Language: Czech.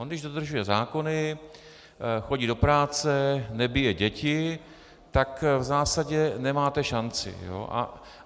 On když dodržuje zákony, chodí do práce, nebije děti, tak v zásadě nemáte šanci.